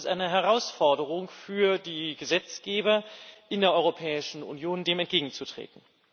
Deshalb ist es eine Herausforderung für die Gesetzgeber in der Europäischen Union, dem entgegenzutreten.